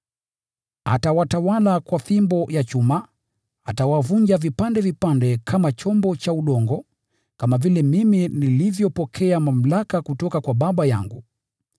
“ ‘Atawatawala kwa fimbo ya chuma, atawavunja vipande vipande kama chombo cha udongo’: kama vile mimi nilivyopokea mamlaka kutoka kwa Baba yangu.